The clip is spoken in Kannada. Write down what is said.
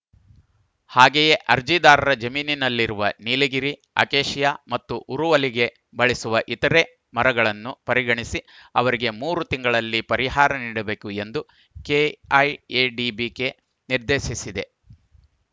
ಹಾಗೆಯೇ ಅರ್ಜಿದಾರರ ಜಮೀನಿನಲ್ಲಿರುವ ನೀಲಗಿರಿ ಅಕೇಶಿಯಾ ಮತ್ತು ಉರುವಲಿಗೆ ಬಳಸುವ ಇತರೆ ಮರಗಳನ್ನು ಪರಿಗಣಿಸಿ ಅವರಿಗೆ ಮೂರು ತಿಂಗಳಲ್ಲಿ ಪರಿಹಾರ ನೀಡಬೇಕು ಎಂದು ಕೆಐಎಡಿಬಿಗೆ ನಿರ್ದೇಶಿಸಿದೆ